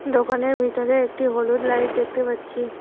দোকানের ভিতরে একটি হলুদ লাইট দেখতে পাচ্ছি।